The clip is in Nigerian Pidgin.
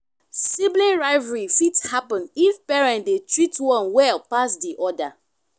sibling rivalry fit happen if parent de treat one well pass di other